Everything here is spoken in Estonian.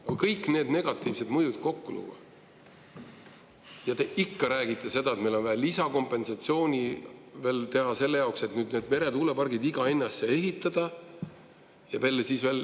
Kui kõik need negatiivsed mõjud kokku lüüa, te ikka räägite seda, et meil on vaja veel lisakompensatsiooni selle jaoks, et need meretuulepargid iga hinna eest siia ehitada.